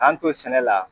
An to sɛnɛ la